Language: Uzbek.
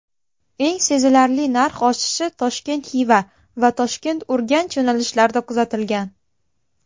Eng sezilarli narx oshishi Toshkent–Xiva va Toshkent–Urganch yo‘nalishlarida kuzatilgan.